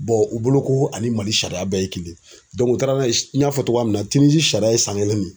u bolo ko ani Mali sariya bɛɛ ye kelen ye u taara n y'a fɔ cogoya min na tinizi sariya ye san kelen de.